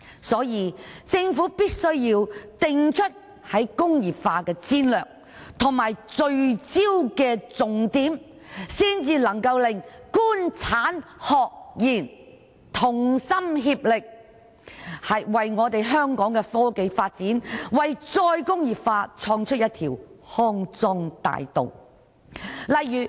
所以，政府必須定出"工業化"戰略及聚焦重點，才能夠令"官產學研"同心協力，為香港科技發展、為再工業化創出一條康莊大道。